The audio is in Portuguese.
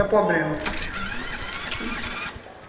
É problema.